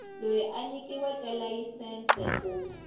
loyi a nyikiweke layisense ku